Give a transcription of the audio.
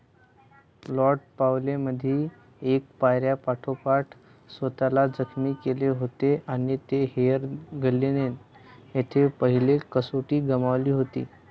Lord's पावेलींमध्ये एका पायऱ्यापाठोपाठ स्वतःला जखमी केले होते आणि हेअदिन्ग्लेय येथे पहिली कसोटी गमावली होती.